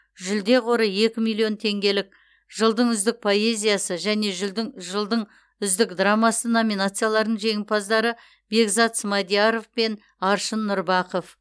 жүлде қоры екі миллион теңгелік жылдың үздік поэзиясы және жылдың үздік драмасы номинацияларының жеңімпаздары бекзат смадияров пен аршын нұрбақов